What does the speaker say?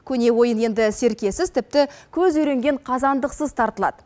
көне ойын енді серкесіз тіпті көз үйренген қазандықсыз тартылады